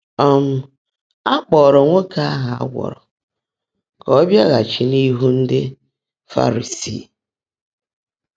um Á kpọ́ọ́ró nwoòké áhụ́ á gwọ́rọ́ kà ó bịágháchi n’íhú ndị́ Fárísii.